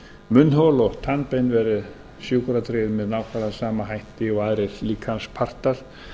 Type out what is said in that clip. munnhol og tannbein verði sjúkratryggð með nákvæmlega sama hætti og aðrir líkamspartar